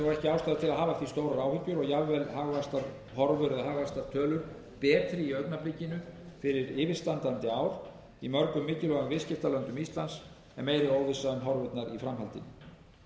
áhyggjur og jafnvel hagvaxtarhorfur eða hagvaxtartölur eru betri í augnablikinu fyrir yfirstandandi ár í mörgum mikilvægum viðskiptalöndum íslands en meiri óvissa um horfurnar í framhaldinu en